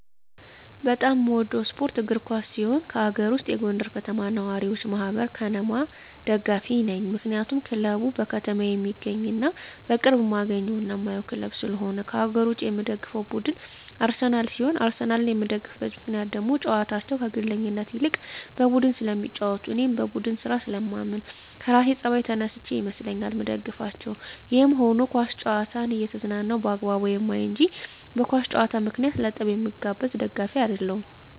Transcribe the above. በጣም የምወደው ስፓርት እግር ኳስ ሲሆን ከአገር ውስጥ የጎንደር ከተማ ነዋሪወች ማህበር(ከነማ) ደጋፊ ነኝ ምክንያቱም ክለቡ በከተማየ የሚገኝና በቅርብ እማገኘውና እማየው ክለብ ስለሆነ። ከአገር ውጭ የምደግፈው ቡድን አርሰናል ሲሆን አርሰናልን የምደግፍበት ምክንያት ደግሞ ጨዋታቸው ከግለኝነት ይልቅ በቡድን ስለሚጫወቱ እኔም በቡድን ስራ ስለማምን ከራሴ ጸባይ ተነስቸ ይመስለኛል ምደግፋቸው። ይህም ሁኖ ኳስ ጨዋታን እየተዝናናው በአግባቡ ማይ እንጅ በእግር ኳስ ጨዋታ ምክንያት ለጠብ ምጋበዝ ደጋፊ አደለሁም።